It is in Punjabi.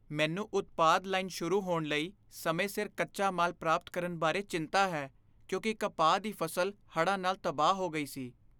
ਮੈਨੂੰ ਉਤਪਾਦਨ ਲਾਈਨ ਸ਼ੁਰੂ ਹੋਣ ਲਈ ਸਮੇਂ ਸਿਰ ਕੱਚਾ ਮਾਲ ਪ੍ਰਾਪਤ ਕਰਨ ਬਾਰੇ ਚਿੰਤਾ ਹੈ, ਕਿਉਂਕਿ ਕਪਾਹ ਦੀ ਫ਼ਸਲ ਹੜ੍ਹਾਂ ਨਾਲ ਤਬਾਹ ਹੋ ਗਈ ਸੀ।